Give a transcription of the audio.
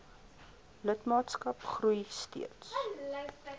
lidmaatskap groei steeds